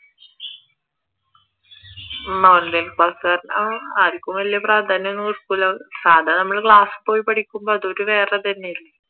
online class കാരണം ആർക്കും വലിയ പ്രാധാന്യം ഒന്നും കൊടുക്കൂല സാധാ നമ്മൾ ക്ലാസിൽ പോയി പഠിക്കുമ്പോൾ അതൊരു വേറെ തന്നെയല്ലേ